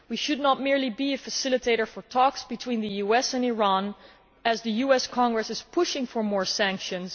We should not merely be a facilitator for talks between the US and Iran, as the US Congress is pushing for more sanctions.